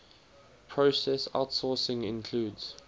process outsourcing includes